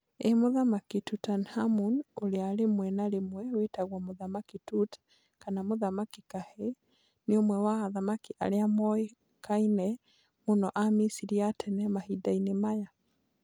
Ĩĩ! Mũthamaki Tutankhamun, ũrĩa rĩmwe na rĩmwe wĩtagwo "Mũthamaki Tut" kana "Mũthamaki kahĨĩ", nĩ ũmwe wa athamaki arĩa moĩkaine mũno a Misiri ya tene mahinda-inĩ maya.